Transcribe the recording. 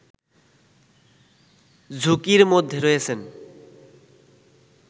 ঝুঁকির মধ্যে রয়েছেন